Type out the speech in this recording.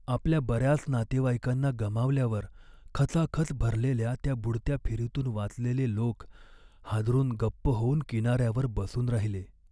आपल्या बऱ्याच नातेवाईकांना गमावल्यावर, खचाखच भरलेल्या त्या बुडत्या फेरीतून वाचलेले लोक हादरून गप्प होऊन किनाऱ्यावर बसून राहिले.